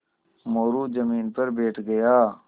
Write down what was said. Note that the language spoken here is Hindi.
मोरू ज़मीन पर बैठ गया